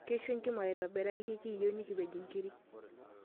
Keishu enkima aitobiraki, ekiiyieu nikipej nkiri.